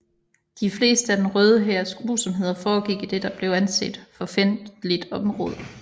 De fleste af den Røde Hærs grusomheder foregik i det som blev anset for fjendtligt område